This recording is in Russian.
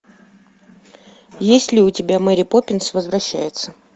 есть ли у тебя мэри поппинс возвращается